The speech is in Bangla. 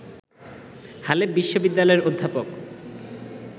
হালে বিশ্ববিদ্যালয়ের অধ্যাপক